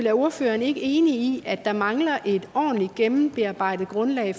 er ordføreren ikke enig i at der mangler et ordentligt gennemarbejdet grundlag